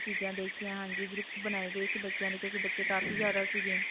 ਚੀਜਾਂ ਦੇਖੀਆਂ. ਹਾਂਜੀ. group ਬਣਾਏ ਗਏ ਸੀ ਬੱਚਿਆਂ ਦੇ ਕਿਉਂਕਿ ਬੱਚੇ ਕਾਫੀ ਜਿਆਦਾ ਸੀਗੇ.